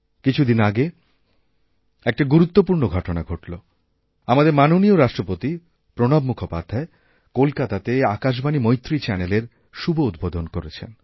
কিছুদিন আগে একটা গুরুত্বপূর্ণ ঘটনা ঘটলো আমাদেররাষ্ট্রপতি মাননীয় প্রণব মুখার্জী কলকাতাতে আকাশবাণী মৈত্রী চ্যানেলের শুভউদ্বোধন করেছেন